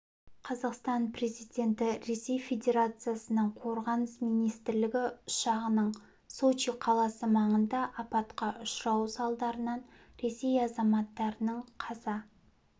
қазақстан президенті ресей федерациясының қорғаныс министрлігі ұшағының сочи қаласы маңында апатқа ұшырауы салдарынан ресей азаматтарының қаза